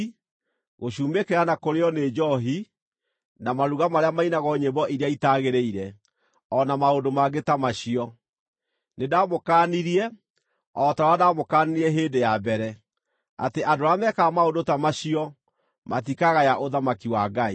gũcumĩkĩra na kũrĩĩo nĩ njoohi, na maruga marĩa mainagwo nyĩmbo iria itaagĩrĩire, o na maũndũ mangĩ ta macio. Nĩndamũkaanirie, o ta ũrĩa ndamũkaanirie hĩndĩ ya mbere, atĩ andũ arĩa mekaga maũndũ ta macio matikagaya ũthamaki wa Ngai.